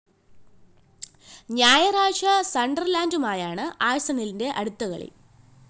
ഞായറാഴ്ച സണ്ടര്‍ലാന്‍ഡുമായാണ് ആഴ്‌സണലിന്റെ അടുത്ത കളി